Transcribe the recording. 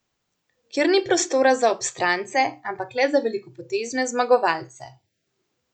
Kjer ni prostora za obstrance, ampak le za velikopotezne zmagovalce.